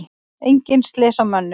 Engin slys á mönnum.